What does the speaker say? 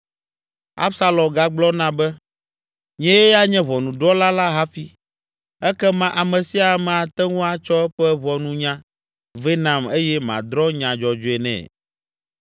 Absalom gagblɔna be, “Nyee anye ʋɔnudrɔ̃la la hafi, ekema ame sia ame ate ŋu atsɔ eƒe ʋɔnunya vɛ nam eye madrɔ̃ nya dzɔdzɔe nɛ!”